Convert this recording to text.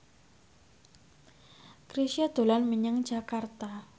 Chrisye dolan menyang Jakarta